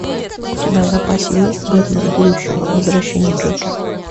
у тебя в запасе есть бэтмен будущего возвращение джокера